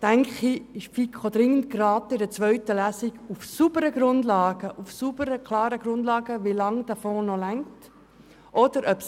Ich denke, die FiKo wäre gut beraten, für eine zweite Lesung auf der Basis sauberer Grundlagen zu beurteilen, wie lange die Gelder in diesem Fonds noch ausreichen werden.